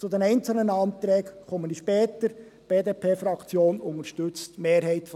Auf die einzelnen Anträge komme ich später zu sprechen.